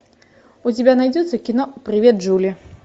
у тебя найдется кино привет джули